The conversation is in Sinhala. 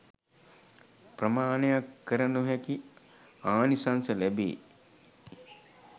ප්‍රමාණයක් කර නොහැකි ආනිසංස ලැබේ.